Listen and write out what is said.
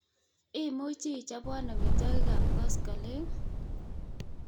Imuchi ichabwan amitwagik ab koskoleng'